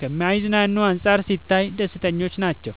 ከማይዝናኑት አንፃር ሲታዩ ደስተኞች ናቸው።